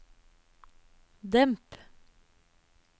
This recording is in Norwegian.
demp